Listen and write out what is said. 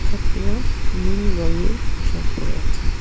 ছাত্রীরা নীল রঙের পোশাক পরে আছে।